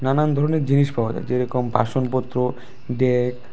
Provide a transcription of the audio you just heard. নানান ধরনের জিনিস পাওয়া যায় যেরকম বাসনপত্র ।